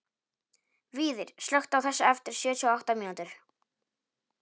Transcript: Víðir, slökktu á þessu eftir sjötíu og átta mínútur.